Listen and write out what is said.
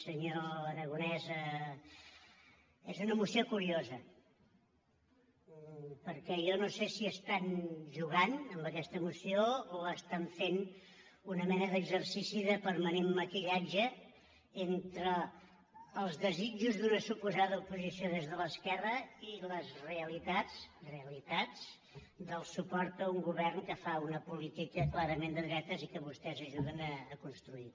senyor aragonès és una moció curiosa perquè jo no sé si estan jugant amb aquesta moció o estan fent una mena d’exercici de permanent maquillatge entre els desitjos d’una suposada oposició des de l’esquerra i les realitats realitats del suport a un govern que fa una política clarament de dretes i que vostès ajuden a construir